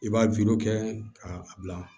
I b'a kɛ k'a bila